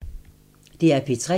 DR P3